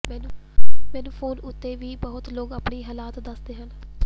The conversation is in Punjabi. ਮੈਂਨੂੰ ਫੋਨ ਉੱਤੇ ਵੀ ਬਹੁਤ ਲੋਕ ਆਪਣੀ ਹਾਲਤ ਦੱਸਦੇ ਹਨ